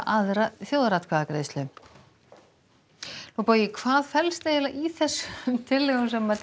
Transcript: aðra þjóðaratkvæðagreiðslu bogi hvað felst í þessum tillögum sem